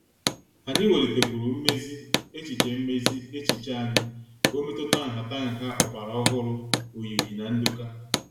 Anyị welitekwuru mmezi echiche mmezi echiche anyị ka ọ metuta nhataha ọgbara ọhụrụ oyiyi na ndoka.